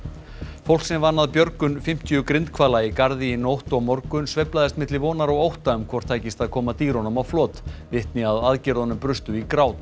fólk sem vann að björgun fimmtíu grindhvala í Garði í nótt og morgun sveiflaðist milli vonar og ótta um hvort tækist að koma dýrunum á flot vitni að aðgerðunum brustu í grát